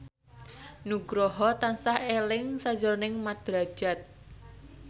Nugroho tansah eling sakjroning Mat Drajat